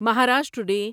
Maharashtra day